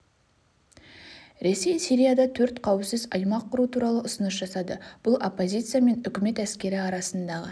ресей сирияда төрт қауіпсіз аймақ құру туралы ұсыныс жасады бұл оппозиция мен үкімет әскері арасындағы